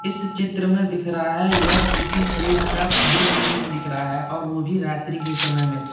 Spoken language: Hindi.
इस चित्र में दिख रहा है यह किसी पोर्ट का दृश्य इसमें दिख रहा है और वो भी रात्रि के समय में।